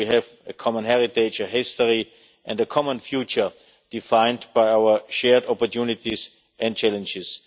We have a common heritage, a history, and a common future defined by our shared opportunities and challenges.